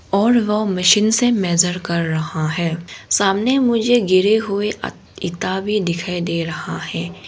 और वह मशीन से मेजर कर रहा है सामने मुझे गिरे हुए ईट भी दिखाई दे रहा है।